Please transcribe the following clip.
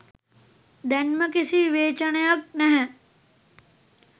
දැන්ම කිසි විවේචනයක් නැහැ.